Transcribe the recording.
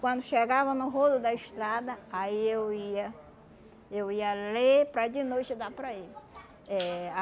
Quando chegava no rolo da estrada, aí eu ia eu ia ler para de noite dar para ele. Eh